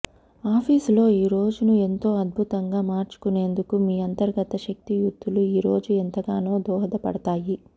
ఆఫీసులో ఈ రోజును ఎంతో అద్భుతంగా మార్చుకునేందుకు మీ అంతర్గత శక్తియుక్తులు ఈ రోజు ఎంతగానో దోహదపడతాయి